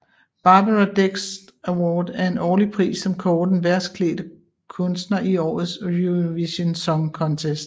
Barbara Dex Award er en årlig pris som kårer den værste klædt kunstner i årets Eurovision Song Contest